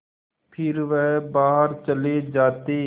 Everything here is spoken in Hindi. फिर वह बाहर चले जाते